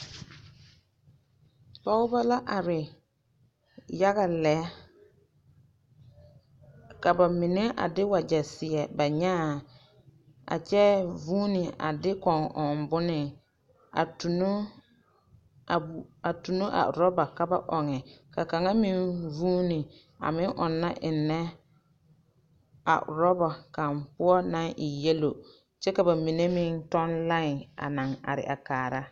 pɔgeba la are yaga lɛ ka ba mine a de wagyɛ seɛ ba nyaaŋ a kyɛ vũũni a de kõɔ ɔŋ bone a tuno, a bu… a tuno a oraba ka ba ɔŋe. Ka kaŋ meŋ vũũni a meŋ ɔnna ennɛ a oraba kaŋ naŋe e yelo kyɛ ka ba mine meŋ tɔŋ laẽ are a kaara.